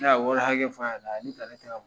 Ne ya wari hakɛ f'a ɲɛna, a ye ta ne tɛkɛ ma .